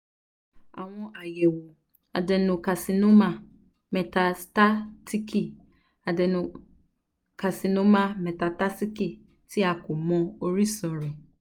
awọn ayẹwo adenocarcinoma metastatic adenocarcinoma metastatic ti a ko mọ orisun rẹ